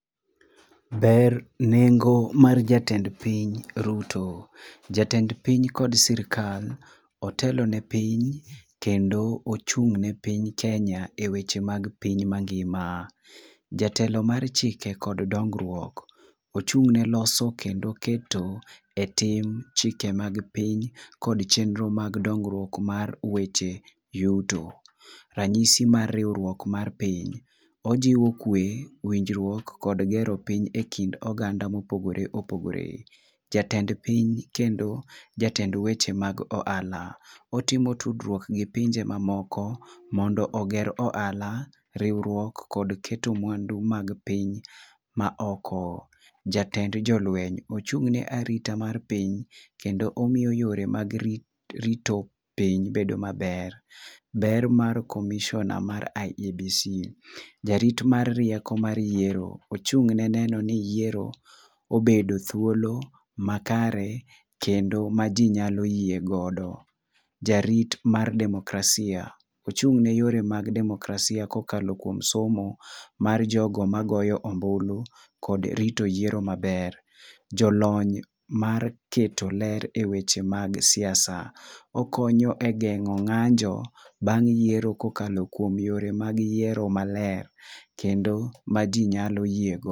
Ber nengo mar jatend piny ruto, jatend piny kod sirkal otelo ne piny kendo ochung ne piny ke ya e weche mag piny ma ngima. jatelo m,ar chike kod dongruok, ochung ne loso kendo keto e tim chike mag piny kod chnero mag dongruok mar weche yutorangisi mar riwruok mar piny. ojiwo kwe winjruok kod gero piny e kind oganda ma opogore opogore . jatned piny kendo jatend weche mag ohala otimo tudruok gi pinje ma oko mondo oger ohala riwruok kendo keto mwandu mag piny ma oko. Jatend jolweny, ochung ne arita mar piny kendo oiyo weche mag rito piny bedo ma ber. Ber mar comiisioner mar iebc, jarot mar rieko mar yoero ochunge no ni yieor onbedo thuolo makare kendo ma ji nyalo yie go .Jarut mar demokrasia. ochung ne yore mag demokrasia ka oa kuom somo mar jo go ma goyo ombulu kod rito yieor maber, jo lony mag jolony mar keto ler e weche mag siasa okonyo e geno e ng'anjo bang yiero ko kalo kuom yore mag yiero ma ler kendo ma ji nyalo yoego.